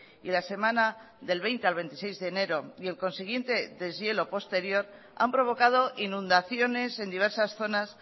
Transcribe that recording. y la semana del veinte al veintiséis de enero y el consiguiente deshielo posterior han provocado inundaciones en diversas zonas